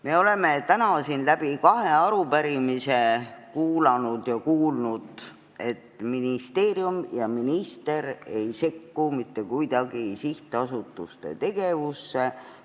Me oleme täna siin kahe arupärimise arutelul kuulnud, et ministeerium ja minister ei sekku mitte kuidagi sihtasutuste tegevusse.